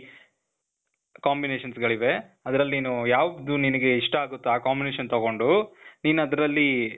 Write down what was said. combinations ಗಳಿವೆ. ಅದ್ರಲ್ ನೀನು ಯಾವ್ದು ನಿನಿಗೆ ಇಷ್ಟ ಆಗುತ್ತೋ ಆ combination ತಗೊಂಡು, ನೀನ್ ಅದ್ರಲ್ಲೀ,